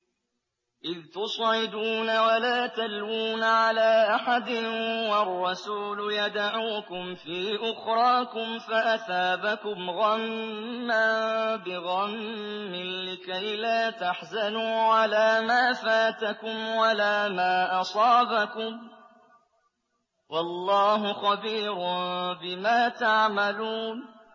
۞ إِذْ تُصْعِدُونَ وَلَا تَلْوُونَ عَلَىٰ أَحَدٍ وَالرَّسُولُ يَدْعُوكُمْ فِي أُخْرَاكُمْ فَأَثَابَكُمْ غَمًّا بِغَمٍّ لِّكَيْلَا تَحْزَنُوا عَلَىٰ مَا فَاتَكُمْ وَلَا مَا أَصَابَكُمْ ۗ وَاللَّهُ خَبِيرٌ بِمَا تَعْمَلُونَ